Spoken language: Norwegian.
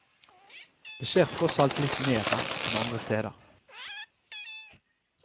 Det skjer tross alt litt mer her enn andre steder.